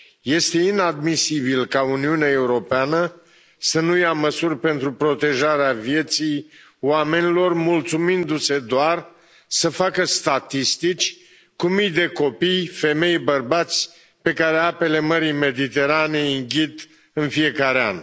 Este inadmisibil ca Uniunea Europeană să nu ia măsuri pentru protejarea vieții oamenilor, mulțumindu se doar să facă statistici cu mii de copii, femei, bărbați pe care apele Mării Mediterane îi înghit în fiecare an.